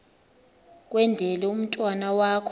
kwendele umntwana wakho